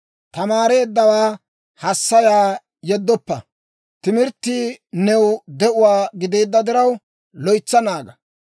Tamaareeddawaa hassaya, yeddoppa; timirttii new de'uwaa gideedda diraw, loytsa naaga.